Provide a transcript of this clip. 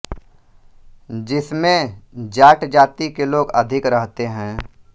जिस में जाट जाति के लोग अधिक रहते है